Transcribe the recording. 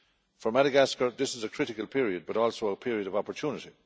For Madagascar this is a critical period but also a period of opportunity.